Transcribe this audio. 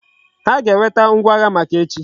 Ha ga eweta ngwa agha maka echi